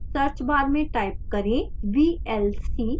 search bar में type करें vlc